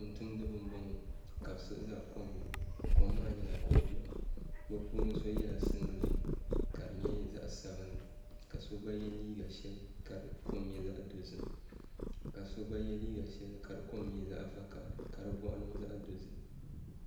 Tumtumdiba n boŋo ka bi siɣi ʒɛ kom ni kom maa nyɛla ko biɛɣu bi puuni so yɛla singirɛti ka di nyɛ zaɣ sabinli ka so gba yɛ liiga shɛli ka di kom nyɛ zaɣ dozim ka so gba yɛ liiga shɛli ka di kom nyɛ zaɣ vakaɣali ka di boɣu niŋ zaɣ dozim